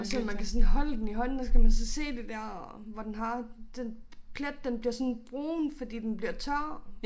Og selvom man kan sådan holde den i hånden og så kan man så se det der hvor den har den plet den bliver sådan brun fordi den bliver tør